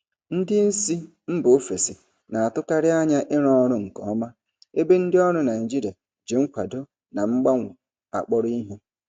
Ndị isi mba ofesi na-atụkarị anya ịrụ ọrụ nke ọma, ebe ndị ọrụ Naijiria ji nkwado na mgbanwe akpọrọ ihe.